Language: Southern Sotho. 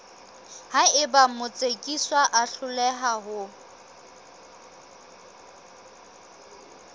haeba motsekiswa a hloleha ho